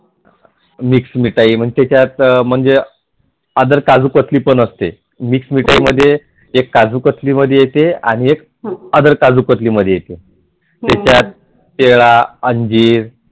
mix मिठाई मग तेझात Other काजू कत्तली पण असते मिक्स मिठाई म्हणजे एक काजू कत्तली मध्ये येते आणि एक आदर काजु कतली मध्ये येते त्यात केळं अंजीर